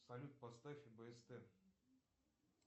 салют поставь бст